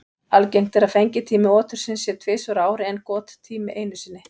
Algengt er að fengitími otursins sé tvisvar á ári en gottími einu sinni.